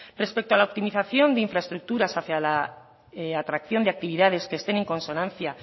respecto a la optimización de infraestructuras hacia la atracción de actividades que estén en consonancia